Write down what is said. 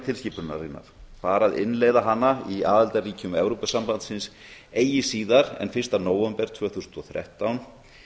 tilskipunarinnar bar að innleiða hana í aðildarríkjum evrópusambandsins eigi síðar en fyrsta nóvember tvö þúsund og þrettán